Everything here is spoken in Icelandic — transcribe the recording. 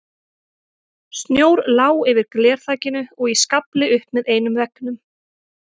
Snjór lá yfir glerþakinu og í skafli upp með einum veggnum.